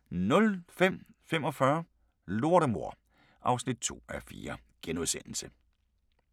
05:45: Lortemor (2:4)*